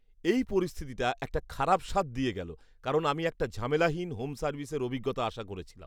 এই পরিস্থিতিটা একটা খারাপ স্বাদ দিয়ে গেলো, কারণ আমি একটা ঝামেলাহীন হোম সার্ভিসের অভিজ্ঞতা আশা করেছিলাম।